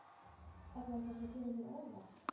Er það eitthvað sem kemur þér á óvart?